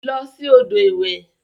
Losi odo iwe.